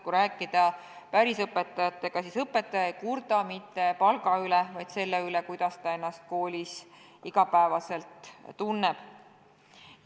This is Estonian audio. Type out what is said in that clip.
Kui õpetajatega rääkida, siis õpetajad ei kurda mitte palga üle, vaid selle üle, kuidas nad ennast koolis igapäevaselt tunnevad.